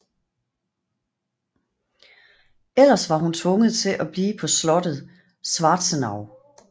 Ellers var hun tvunget til at blive på slottet Schwarzenau